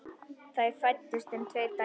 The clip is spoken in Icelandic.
Þar fæddust þeim tvær dætur.